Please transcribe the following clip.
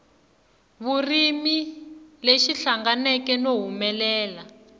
vurimi lexi hlanganeke no humelela